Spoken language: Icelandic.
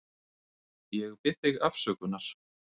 Ég bið þig afsökunar.